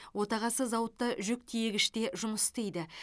отағасы зауытта жүк тиегіште жұмыс істейді